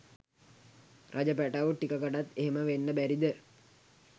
රජ පැටව් ටිකකකටත් එහෙම වෙන්න බැරිද?